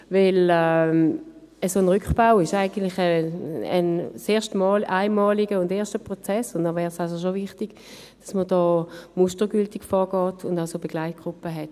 Ein solcher Rückbau ist ein einmaliger und erstmaliger Prozess, und es wäre schon wichtig, dass man mustergültig vorgeht und Begleitgruppen hat.